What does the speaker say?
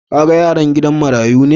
Ka gan yaran are gidan marayun ne?